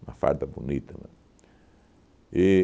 uma farda bonita mesmo. E